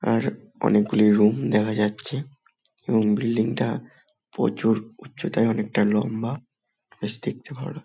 আর অনেকগুলি রুম দেখা যাচ্ছে এবং বিল্ডিং -টা প্রচুর উচ্চতায় অনেকটা লম্বা বেশ দেখতে ভালো ।